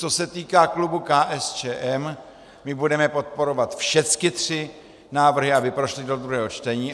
Co se týká klubu KSČM, my budeme podporovat všechny tři návrhy, aby prošly do druhého čtení.